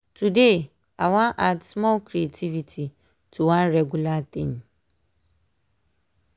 today i wan add small creativity to one regular thing.